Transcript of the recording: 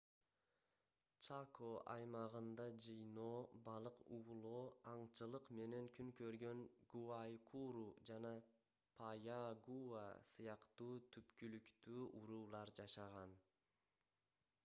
чако аймагында жыйноо балык уулоо аңчылык менен күн көргөн гуайкуру жана паягуа сыяктуу түпкүлүктүү уруулар жашаган